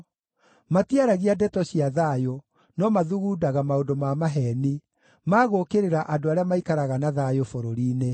Matiaragia ndeto cia thayũ, no mathugundaga maũndũ ma maheeni, ma gũũkĩrĩra andũ arĩa maikaraga na thayũ bũrũri-inĩ.